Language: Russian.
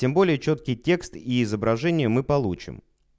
тем более чёткий текст и изображение мы получим